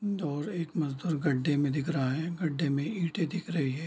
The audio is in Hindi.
दूर एक मज़दूर एक गड्ढे में दिख रहा है गड्ढे में ईटें दिख रही हैं।